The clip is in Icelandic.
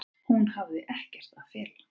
Hún hafi ekkert að fela.